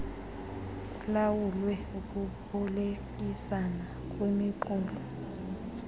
kulawulwe ukubolekisana kwimiqulu